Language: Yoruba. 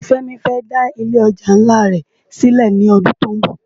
Femi fè dá ilé òjá nlá rè silè lòdún tó n bò